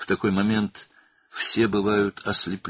Belə bir anda hamı kor olur.